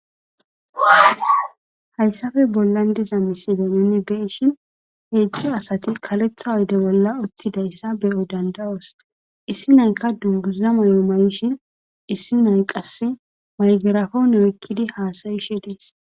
hayssafe bollan diza misile nuni beyshin heedzjo asati kaletha oyde bolla uttidayssa beyo dandawos issi nayka duguza mayo mayishin issi nay qasse maygerafone ekkidi haasayishe dees